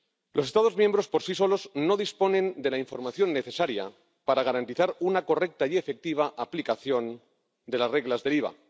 Los Estados miembros por sí solos no disponen de la información necesaria para garantizar una correcta y efectiva aplicación de las reglas del IVA.